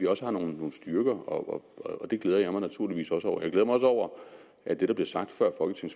også har nogle styrker og det glæder jeg mig naturligvis også over jeg glæder mig også over at det der blev sagt